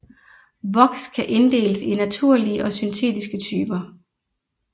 Voks kan inddeles i naturlige og syntetiske typer